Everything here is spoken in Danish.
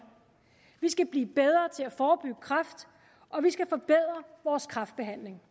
vi skal blive bedre til at forebygge kræft og vi skal forbedre vores kræftbehandling